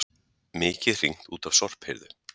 Mikið hringt út af sorphirðu